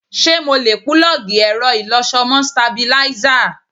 Ṣé mo lè púlọ́ọ̀gì ẹ̀rọ ìlọṣọ mọ́ stabilízà?